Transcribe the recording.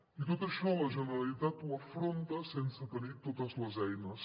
i tot això la generalitat ho afronta sense tenir totes les eines